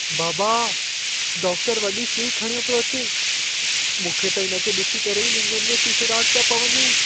बाबा, डाक्टरु वॾी सुई खणियो पियो अचे। मूंखे त इन खे ॾिसी करे ई लिङनि में सीसड़ाट पिया पवनि।